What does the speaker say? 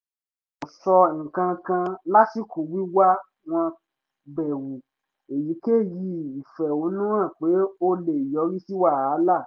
kò sọ nǹkankan lásìkò wíwá wọ́n bẹ̀rù èyíkéyìí ìfẹ̀hónúhàn pé ó lè yọrí sí wàhálà